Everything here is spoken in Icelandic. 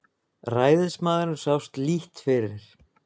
Ræðismaðurinn sást lítt fyrir.